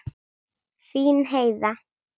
Þín Heiða.